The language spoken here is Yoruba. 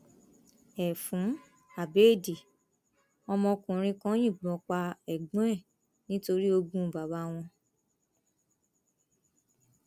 ẹfun abẹẹdì ọmọkùnrin kan yìnbọn pa ẹgbọn ẹ nítorí ogún bàbá wọn